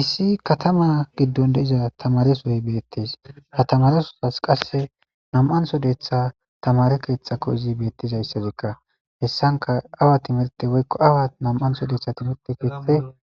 issi katama giddon de7iza tamaresoyi beettes ha tamaresosas qasse nam7ansodetha tamare keethtxakko izi beettizayssazikka hessanka awa timirte woykko awa nam7ansodetha timerte keethte